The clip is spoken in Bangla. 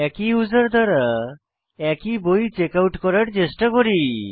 একই ইউসার দ্বারা একই বই চেকআউট করার চেষ্টা করি